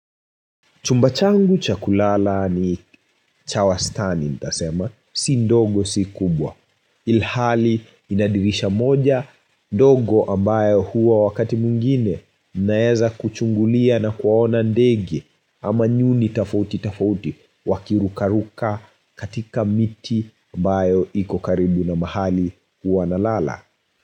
Chumba changu cha kulala ni cha wastani ntasema, si ndogo si kubwa. Ilhali ina dirisha moja, ndogo ambao huwa wakati mwingine ninaeza kuchungulia na kuwaona ndege ama nyuni tafauti tafauti wakirukaruka katika miti ambayo iko karibu na mahali huwa na lala.